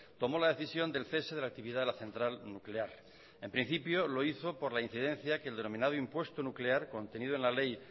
tomó la decisión del cese de la actividad de la central nuclear en principio lo hizo por la incidencia que el denominado impuesto nuclear contenido en la ley